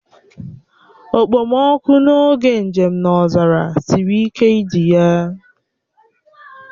Okpomọkụ n'oge njem n'ọzara siri ike idi ya